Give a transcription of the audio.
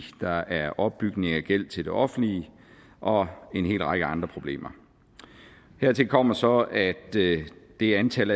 der er opbygning af gæld til det offentlige og en hel række andre problemer hertil kommer så at det det antal